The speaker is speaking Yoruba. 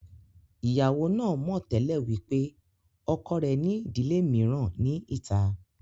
Ìyàwó náà mọ̀ tẹ́lẹ̀ wípé ọkọ rẹ̀ ní ìdílé mìíràn ní ìta